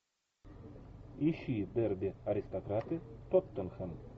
ищи дерби аристократы тоттенхэм